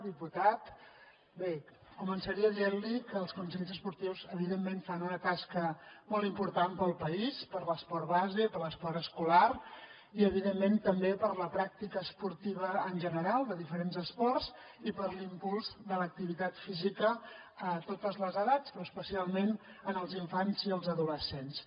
diputat bé començaré dient li que els consells esportius evidentment fan una tasca molt important pel país per l’esport base per l’esport escolar i evidentment també per la pràctica esportiva en general de diferents esports i per l’impuls de l’activitat física a totes les edats però especialment en els infants i els adolescents